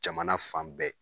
Jamana fan bɛɛ